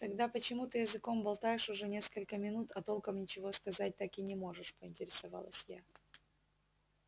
тогда почему ты языком болтаешь уже несколько минут а толком ничего сказать так и не можешь поинтересовалась я